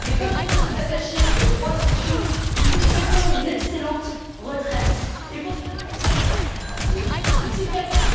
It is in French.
Mais comme nous sommes attachés aux droits sociaux, nous vous souhaitons une excellente retraite et pour cela nous avons pour vous un petit cadeau.